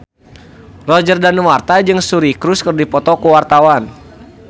Roger Danuarta jeung Suri Cruise keur dipoto ku wartawan